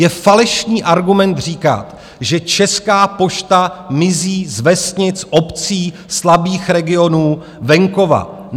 Je falešný argument říkat, že Česká pošta mizí z vesnic, obcí, slabých regionů, venkova.